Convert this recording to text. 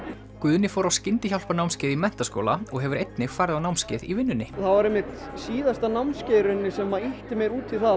Guðni fór á skyndihjálparnámskeið í menntaskóla og hefur einnig farið á námskeið í vinnunni það var einmitt síðasta námskeið sem ýtti mér út í það